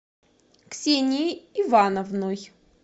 ксенией ивановной